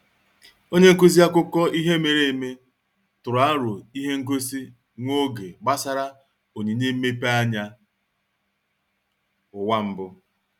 Onye nkuzi akụkọ ihe mere eme tụrụ aro ihe ngosi nwa oge gbasara onyinye mmepeanya ụwa mbụ.